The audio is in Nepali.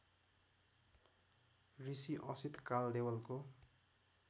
ऋषि असित कालदेवलको